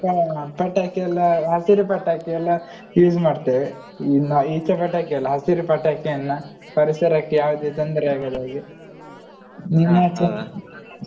ಹ ಪಟಾಕಿ ಎಲ್ಲಾ ಹಸಿರು ಪಟಾಕಿ ಎಲ್ಲಾ use ಮಾಡ್ತೇವೆ ಇನ್ನು ಈಚ ಪಟಾಕಿ ಅಲ್ಲ ಹಸಿರು ಪಟಾಕಿಯನ್ನ ಪರಿಸರಕ್ಕೆ ಯಾವ್ದೇ ತೊಂದ್ರೆ ಆಗದಾಗೆ ನಿಮ್ಮಾಚೆ?